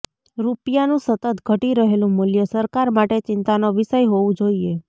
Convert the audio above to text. રૂપિયાનું સતત ઘટી રહેલું મૂલ્ય સરકાર માટે ચિંતાનો વિષય હોવું જોઇએ